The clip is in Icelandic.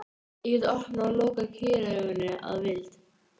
Ég gat opnað og lokað kýrauganu að vild.